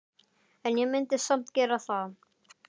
En ég myndi samt gera það.